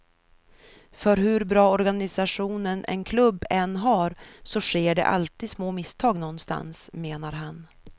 För hur bra organisation en klubb än har så sker det alltid små misstag någonstans, menar han.